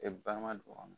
E balima don a kɔnɔ